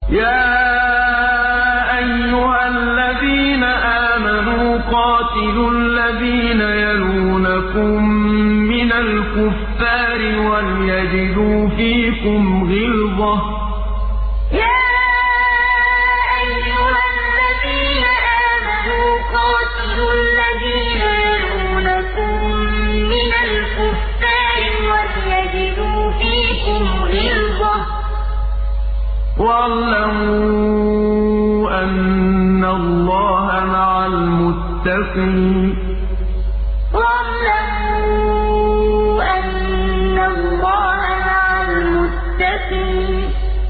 يَا أَيُّهَا الَّذِينَ آمَنُوا قَاتِلُوا الَّذِينَ يَلُونَكُم مِّنَ الْكُفَّارِ وَلْيَجِدُوا فِيكُمْ غِلْظَةً ۚ وَاعْلَمُوا أَنَّ اللَّهَ مَعَ الْمُتَّقِينَ يَا أَيُّهَا الَّذِينَ آمَنُوا قَاتِلُوا الَّذِينَ يَلُونَكُم مِّنَ الْكُفَّارِ وَلْيَجِدُوا فِيكُمْ غِلْظَةً ۚ وَاعْلَمُوا أَنَّ اللَّهَ مَعَ الْمُتَّقِينَ